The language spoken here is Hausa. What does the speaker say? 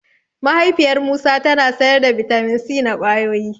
Mahaifiyar Musa tana sayar da bitamin C na ƙwayoyi.